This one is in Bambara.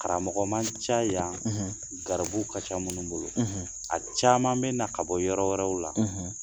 Karamɔgɔ man ca yan garibuw ka ca minnu bolo, a caman bɛ na ka bɔ yɔrɔ wɛrɛw la